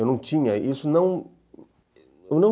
Eu não tinha, isso não, eu não